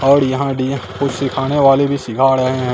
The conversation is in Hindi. और यहां डी कुछ सिखाने वाले भी सिखा रहे है।